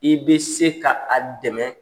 I bɛ se ka a dɛmɛ